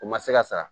O ma se ka sara